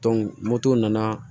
moto nana